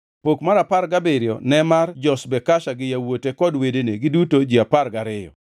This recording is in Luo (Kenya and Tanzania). Pok mar apar gabiriyo ne mar Joshbekasha gi yawuote kod wedene, giduto ji apar gariyo,